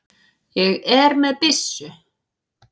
Ég er byssu